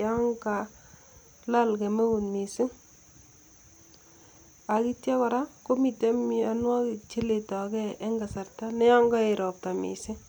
yon kalal kemeut misiing' ak ityo kora komiten mianwogik cheletage en kasarta neyon koet ropta misiing'.